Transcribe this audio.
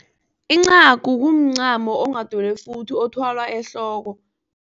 Incagu kumncamo onghadelwefuthi othwalwa ehloko.